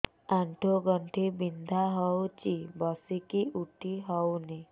ଆଣ୍ଠୁ ଗଣ୍ଠି ବିନ୍ଧା ହଉଚି ବସିକି ଉଠି ହଉନି